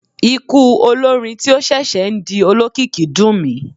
Ikú olórin tí ó ṣẹ̀ṣẹ̀ ń di olókìkí dùn mí.